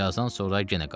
Birazdan sonra yenə qayıtdı.